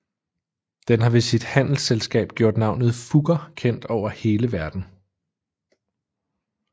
Den har ved sit handelsselskab gjort navnet Fugger kendt over hele verden